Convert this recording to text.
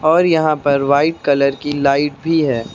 और यहां पर वाइट कलर की लाइट भी है।